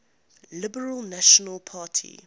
liberal national party